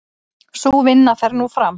Sú vinna fer nú fram.